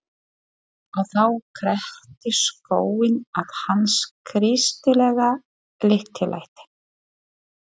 Og þá kreppti skóinn að hans kristilega lítillæti.